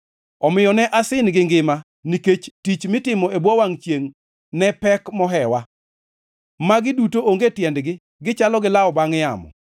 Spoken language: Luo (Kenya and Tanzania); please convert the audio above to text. Omiyo ne asin gi ngima, nikech tich mitimo e bwo wangʼ chiengʼ ne pek mohewa. Magi duto onge tiendgi, gichalo gi lawo bangʼ yamo.